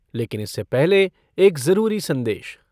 लेकिन इससे पहले एक जरूरी संदेश